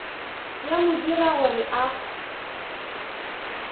ya mo dira gore a